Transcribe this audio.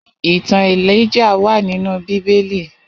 Itàn Élijáh wà ninú Bibéli